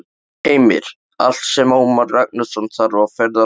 Heimir: Allt sem Ómar Ragnarsson þarf á ferðalaginu?